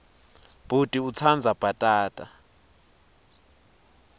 bhuti utsandza bhatata